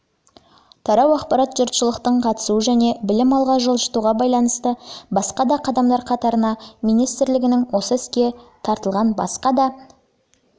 тарау ақпарат жұртшылықтың қатысуы және білім алға жылжытуға байланысты басқа да қадамдар қатарына министрлігінің осы іске тартылған басқа да